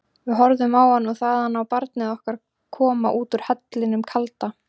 Við horfðum á hann og þaðan á barnið okkar koma út úr hellinum kalda.